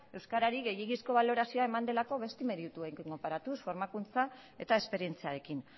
euskarari gehiegizko balorazioa eman delako beste merituekin konparatuz formakuntza eta esperientziarekin